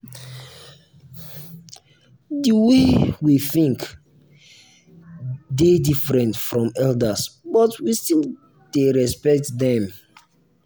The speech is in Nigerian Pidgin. the way we think dey different from elders but we still dey respect dem.